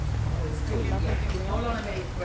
Ulla Nordgren